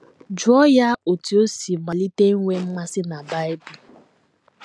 Jụọ ya otú o si malite inwe mmasị na Bible.